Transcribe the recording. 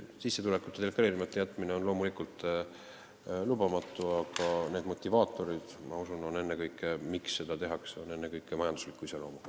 Sissetulekute deklareerimata jätmine on loomulikult lubamatu, aga need motivaatorid, miks seda tehakse, ma usun, on ennekõike majandusliku iseloomuga.